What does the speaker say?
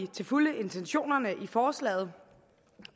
til fulde intentionerne i forslaget